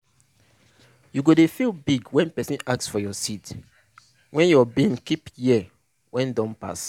you go dey feel big when person ask for your seed wey your bin keep year wey don pass.